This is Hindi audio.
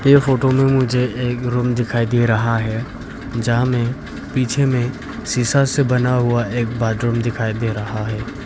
ये फोटो में मुझे एक रूम दिखाई दे रहा है जहां में पीछे में शीशा से बना हुआ एक बाथरूम दिखाई दे रहा है।